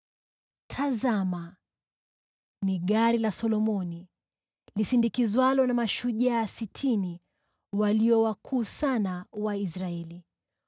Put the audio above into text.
Tazama! Ni gari la Solomoni lisindikizwalo na mashujaa sitini, walio wakuu sana wa Israeli,